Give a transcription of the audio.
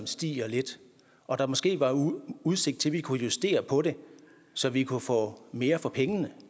stiger lidt og der måske var udsigt til at kunne justere på det så vi kunne få mere for pengene